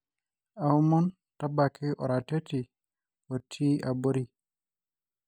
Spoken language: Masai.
oamon tabaki oratioti otii abori